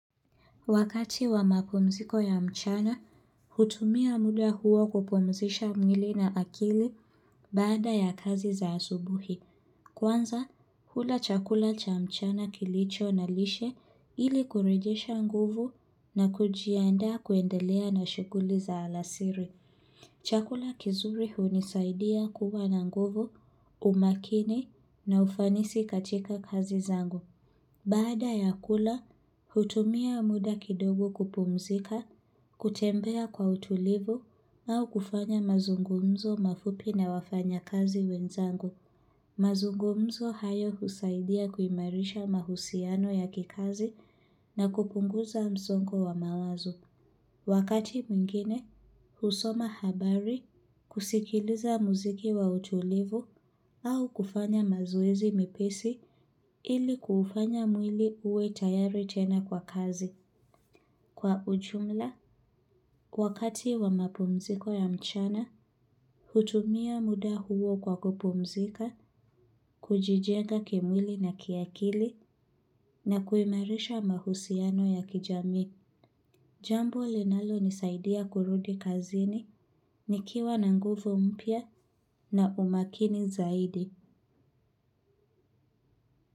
Wakati wa makumziko ya mchana, hutumia muda huo kupumzisha mwili na akili baada ya kazi za asubuhi. Kwanza, hula chakula cha mchana kilicho na lishe ili kurijesha nguvu na kujianda kuendelea na shughuli za alasiri. Chakula kizuri hunisaidia kuwa na nguvu, umakini na ufanisi katika kazi zangu. Baada ya kula, hutumia muda kidogo kupumzika, kutembea kwa utulivu au kufanya mazungumzo mafupi na wafanya kazi wenzangu. Mazungumzo hayo husaidia kuimarisha mahusiano ya kikazi na kupunguza mzongo wa mawazo. Wakati mwingine, husoma habari, kusikiliza muziki wa utulivu au kufanya mazoezi mipisi ili kufanya mwili uwe tayari tena kwa kazi. Kwa ujumla, wakati wa mapumziko ya mchana, hutumia muda huo kwa kupumzika, kujijenga kimwili na kiakili na kuimarisha mahusiano ya kijami. Jambo linalonisaidia kurudi kazini, nikiwa na nguvo mpya na umakini zaidi.